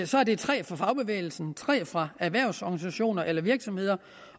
det er tre fra fagbevægelsen tre fra erhvervsorganisationer eller virksomheder